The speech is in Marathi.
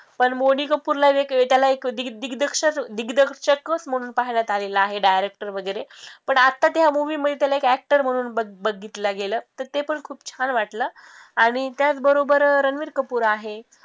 पण बोनी कपूरला एक दिग्दर्शक दिग्दर्शकच म्हणूनच पाहण्यात आलेलं आहे director वैगरे पण आता त्या movie मध्ये त्याला एक actor म्हणून बघि बघितलं गेलं तर ते पण खूप छान वाटलं आणि त्याच बरोबर रणबीर कपूर आहे